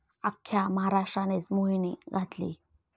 अख्ख्या महाराष्ट्रानेच मोहिनी घातली.